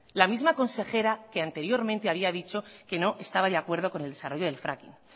la misma consejera que anteriormente había dicho que no estaba de acuerdo con el desarrollo del fracking